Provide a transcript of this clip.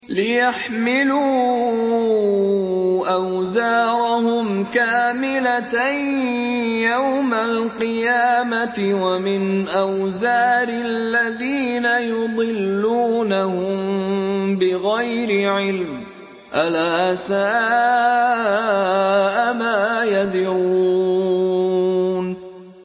لِيَحْمِلُوا أَوْزَارَهُمْ كَامِلَةً يَوْمَ الْقِيَامَةِ ۙ وَمِنْ أَوْزَارِ الَّذِينَ يُضِلُّونَهُم بِغَيْرِ عِلْمٍ ۗ أَلَا سَاءَ مَا يَزِرُونَ